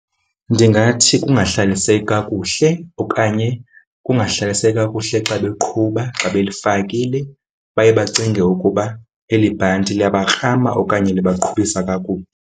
Ndingathi kungahlaliseki kakuhle okanye kungahlaliseki kakuhle xa beqhuba xa belifakile. Baye bacinge ukuba eli bhanti liyabarhama okanye libaqhubisa kakubi.